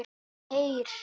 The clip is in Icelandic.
Heyr!